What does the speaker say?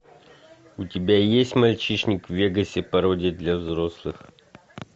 у тебя есть мальчишник в вегасе пародия для взрослых